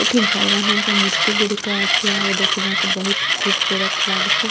ଏଠି ଭଗବାନଙ୍କ ମୂର୍ତ୍ତି ଗୁଡ଼ାକ ଅଛି ଆଉ ଦେଖିବାକୁ ବହୁତ୍ ଖୁବସୁରତ୍ ଲାଗୁଚି।